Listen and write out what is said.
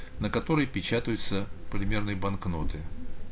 на которой печатаются полимерные банкноты